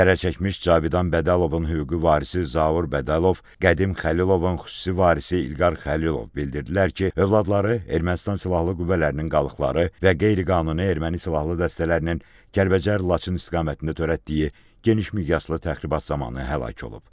Zərərçəkmiş Cavidan Bədəlovun hüquqi varisi Zaur Bədəlov, Qədim Xəlilovun xüsusi varisi İlqar Xəlilov bildirdilər ki, övladları Ermənistan silahlı qüvvələrinin qalıqları və qeyri-qanuni erməni silahlı dəstələrinin Kəlbəcər Laçın istiqamətində törətdiyi geniş miqyaslı təxribat zamanı həlak olub.